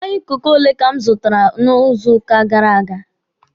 Mmanya kooku ole ka m zụtara n'izu gara aga?